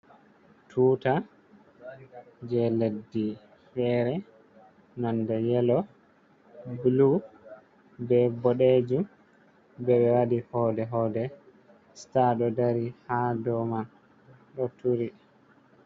"Tuta" je leɗɗi fere nonde yelo bulu ɓe bodejum ɓe waɗi hode hode star ɗo dari ha do man ɗo turi.